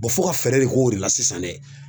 fo ka fɛɛrɛ de k'o de la sisan dɛ